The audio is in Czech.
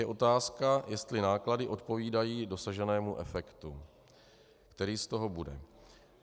Je otázka, jestli náklady odpovídají dosaženému efektu, který z toho bude.